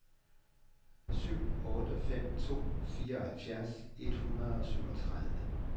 syv otte fem to fireoghalvfjerds et hundrede og syvogtredive